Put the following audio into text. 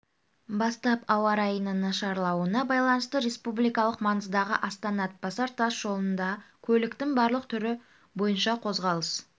бастап ауа райының нашарлауына байланысты республикалық маңыздағы астана-атбасар тас жолында көліктің барлық түрі бойынша қозғалыс